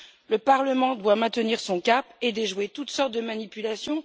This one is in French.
Le Parlement doit maintenir son cap et déjouer toutes sortes de manipulations.